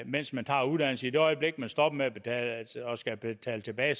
mens man tager uddannelsen i det øjeblik man stopper og skal betale tilbage